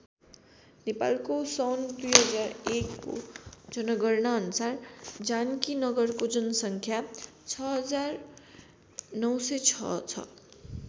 नेपालको सन् २००१ को जनगणना अनुसार जानकीनगरको जनसङ्ख्या ६९०६ छ।